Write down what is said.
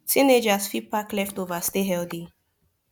teenagers fit pack leftover stay healthy